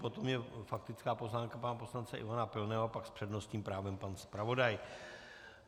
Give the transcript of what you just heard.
Potom je faktická poznámka pana poslance Ivana Pilného, pak s přednostním právem pan zpravodaj.